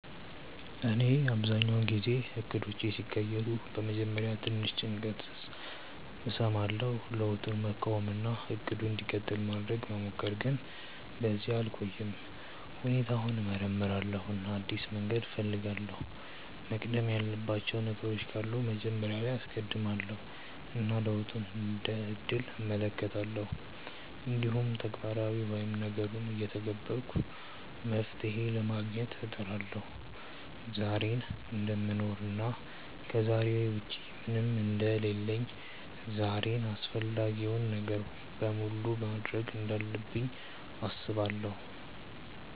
እኔ አብዛኛውን ጊዜ እቅዶቼ ሲቀየሩ በመጀመሪያ ትንሽ ጭንቀት እሰማለሁ፣ ለውጡን መቃወም እና “እቅዱ እንዲቀጥል” ማድረግ መሞከር፣ ግን በዚያ አልቆይም። ሁኔታውን እመርምራለሁ እና አዲስ መንገድ እፈልጋለሁ፤ መቅደም ያለባቸው ነገሮች ካሉ መጀመሪያ ላይ አስቀድማለው እና ለውጡን እንደ እድል እመለከታለሁ። እንዲሁም ተግባራዊ ወይም ነገሩን እየተገበርኩ መፍትሄ ለማግኘት እጥራለሁ። ዛሬን እደምኖር እና ከዛሬ ውጪ ምንም አንደ ሌለሁ ዛሬን አፈላጊውን ነገር በሙሉ ማድርግ እንዳለብኝ አስባለው።